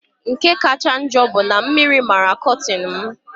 Nke kacha ojoo bụ na mmiri mara kọtin m.